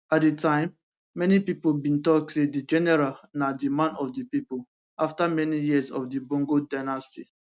at di time many pipo bin tok say di general na di man of di pipo afta many years of di bongo dynasty